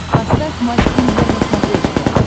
поставь матч премьер на смотрешке